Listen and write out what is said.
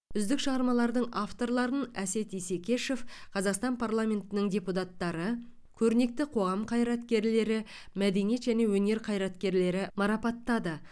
үздік шығармалардың авторларын әсет исекешев қазақстан парламентінің депутаттары көрнекті қоғам қайраткерлері мәдениет және өнер қайраткерлері марапаттады